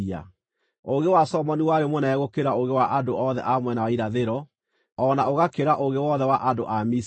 Ũũgĩ wa Solomoni warĩ mũnene gũkĩra ũũgĩ wa andũ othe a mwena wa irathĩro, o na ũgakĩra ũũgĩ wothe wa andũ a Misiri.